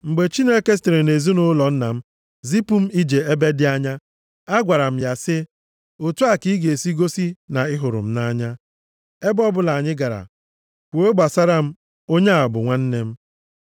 Mgbe Chineke sitere nʼezinaụlọ nna m zipụ m ije ebe dị anya, agwara m ya sị, ‘Otu a ka ị ga-esi gosi na ị hụrụ m nʼanya, ebe ọbụla anyị gara, kwuo gbasara m, “Onye a bụ nwanne m.” ’”